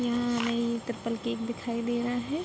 यहाँ हमें ये ट्रिपल केक दिखाई दे रहा है।